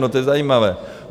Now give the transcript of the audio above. No to je zajímavé.